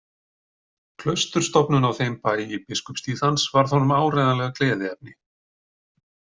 Klausturstofnun á þeim bæ í biskupstíð hans varð honum áreiðanlega gleðiefni.